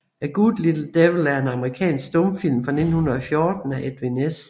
A Good Little Devil er en amerikansk stumfilm fra 1914 af Edwin S